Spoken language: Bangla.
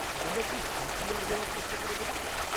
তোমরা কি সি.পি.আর দেওয়ার চেষ্টা করে দেখেছ?